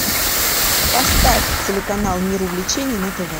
поставь телеканал мир увлечений на тв